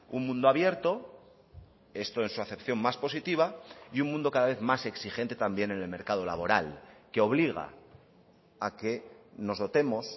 un mundo abierto esto en su acepción más positiva y un mundo cada vez más exigente también en el mercado laboral que obliga a que nos dotemos